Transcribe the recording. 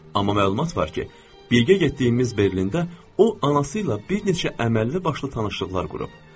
Amma məlumat var ki, biz gedəcəyimiz Berlində o anası ilə bir neçə əməlli başlı tanışlıqlar qurub.